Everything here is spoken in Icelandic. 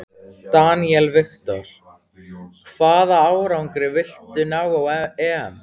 Daniel Victor: Hvaða árangri viltu ná á EM?